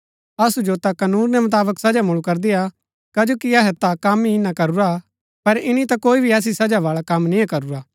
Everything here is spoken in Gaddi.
असु जो ता कानून रै मुताबक सजा मुळु करदी हा कजो कि अहै ता कम ही इन्‍ना करूरा पर इन्‍नी ता कोई ऐसी सजा बाळा कम नियां करूरा